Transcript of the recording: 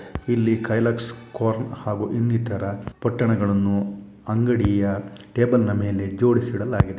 ಇಲ್ಲಿ ಕೈಲಕ್ಸ್ ಕಾರ್ನ್ ಹಾಗು ಇಂಗ್ ಇಟ್ಟಾರ. ಪಟ್ಟಣಗಳು ಅಂಗಡಿಯ ಟೇಬಲ್ ನ ಮೇಲೆ ಜೋಡ್ಸಿ ಇಡಲಾಗಿದೆ.